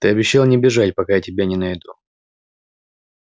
ты обещал не бежать пока я тебя не найду